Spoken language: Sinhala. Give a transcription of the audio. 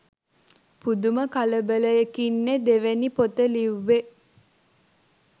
පුදුම කලබලයකින්නෙ දෙවැනි පොත ලිව්වෙ